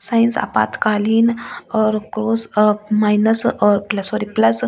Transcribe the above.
Science आपातकालीन और cross uh minus uh sorry plus.